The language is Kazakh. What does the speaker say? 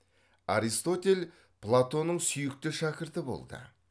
аристотель платонның сүйікті шәкірті болды